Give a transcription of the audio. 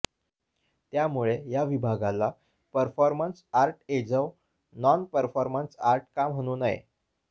त्यामुळे या विभागाला परफॉर्मन्स आर्ट्ऐजव नॉन परफॉर्मन्स आर्ट् का म्हणून नये